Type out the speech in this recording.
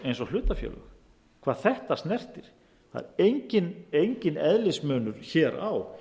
eins og hlutafélög hvað þetta snertir það er enginn eðlismunur hér á